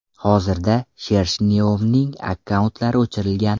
Hozirda Shershnyovning akkauntlari o‘chirilgan.